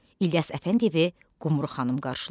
İlyas Əfəndiyevi Qumru xanım qarşılayır.